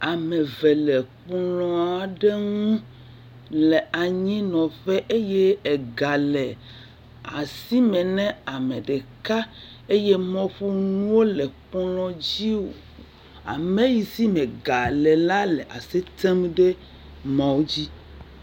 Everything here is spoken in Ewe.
Ame eve le kplɔ̃ aɖe ŋu le anyinɔƒe eye ga le asime ne ame ɖeka eye mɔƒonuwo le kplɔ̃ dzi. Ame yi si me ga le la le asi tem ɖe foni dzi.